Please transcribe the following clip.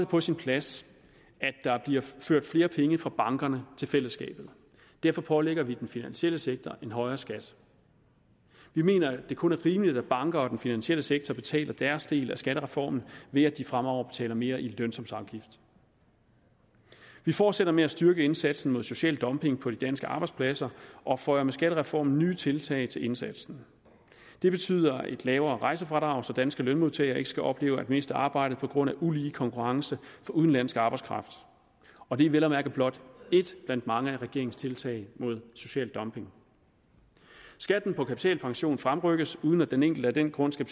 på sin plads at der bliver ført flere penge fra bankerne til fællesskabet derfor pålægger vi den finansielle sektor en højere skat vi mener det kun er rimeligt at banker og den finansielle sektor betaler deres del af skattereformen ved at de fremover betaler mere i lønsumsafgift vi fortsætter med at styrke indsatsen mod social dumping på de danske arbejdspladser og føjer med skattereformen nye tiltag til indsatsen det betyder et lavere rejsefradrag så danske lønmodtagere ikke skal opleve at miste arbejdet på grund af ulige konkurrence fra udenlandsk arbejdskraft og det er vel at mærke blot et blandt mange af regeringens tiltag mod social dumping skatten på kapitalpension fremrykkes uden at den enkelte af den grund skal